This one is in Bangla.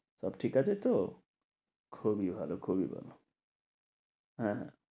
সব ঠিকাছে তো? খুবই ভালো খুবই ভালো। হ্যাঁ